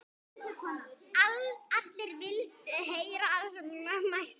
Allir vildu heyra sem mest.